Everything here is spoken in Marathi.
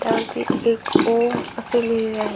त्यावरती एक ओम असे लिहिलेलेआहे.